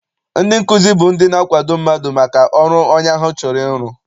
Ndị nkụzi bụ ndị na-akwado mmadụ maka ọrụ onye ahụ chọrọ iru.